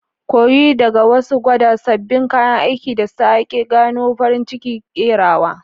Koyi daga wasu, gwada sabbin kayan aiki, da sake gano farin cikin kerawa.